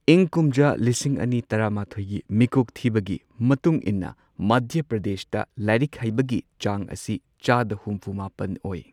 ꯏꯪ ꯀꯨꯝꯖꯥ ꯂꯤꯁꯤꯡ ꯑꯅꯤ ꯇꯔꯥꯃꯥꯊꯣꯏꯒꯤ ꯃꯤꯀꯣꯛ ꯊꯤꯕꯒꯤ ꯃꯇꯨꯡ ꯏꯟꯅ ꯃꯙ꯭ꯌ ꯄ꯭ꯔꯗꯦꯁꯇ ꯂꯥꯏꯔꯤꯛ ꯍꯩꯕꯒꯤ ꯆꯥꯡ ꯑꯁꯤ ꯆꯥꯗ ꯍꯨꯝꯐꯨ ꯃꯥꯄꯟ ꯑꯣꯏ꯫